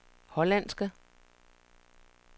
hollandske